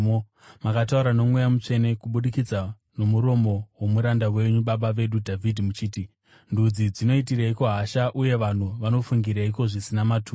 Makataura noMweya Mutsvene kubudikidza nomuromo womuranda wenyu, baba vedu Dhavhidhi, muchiti: “ ‘Ndudzi dzinoitireko hasha uye vanhu vanofungireiko zvisina maturo?